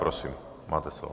Prosím, máte slovo.